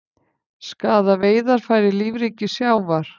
Skaða veiðarfæri lífríki sjávar